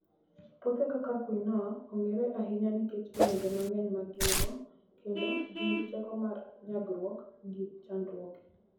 Puothe kaka quinoa ong'ere ahinya nikech olembe mang'eny ma gin - go kendo gin gi teko mar nyagruok gi chandruoge.